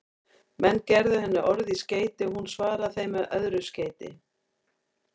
Menn gerðu henni orð í skeyti og hún svaraði þeim með öðru skeyti.